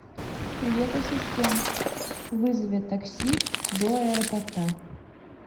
привет ассистент вызови такси до аэропорта